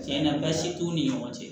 Tiɲɛna baasi t'u ni ɲɔgɔn cɛ